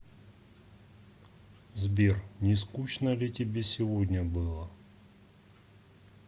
сбер не скучно ли тебе сегодня было